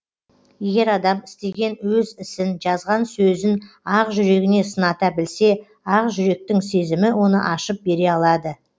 егер адам істеген өз ісін жазған сөзін ақ жүрегіне сыната білсе ақ жүректің сезімі оны ашып бере алады